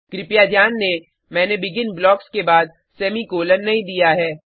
कृपया ध्यान दें मैंने बेगिन ब्लॉक्स के बाद सेमीकॉलन नहीं दिया है